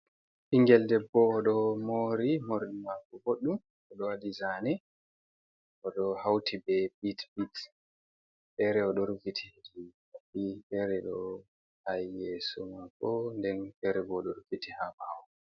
Ɓingel debbo oɗo mori morɗi mako ɓoɗɗum, oɗo waɗi zane oɗo hauti be bit biks, fere oɗo rufti hedi nopi, fere ɗo ha yeso mako, den fere bo oɗo rufiti ha ɓawo mako.